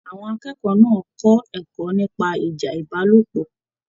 Àwọn akẹ́kọ̀ọ́ náà kọ ẹ̀kọ́ nípa ìjà ìbálòpọ̀.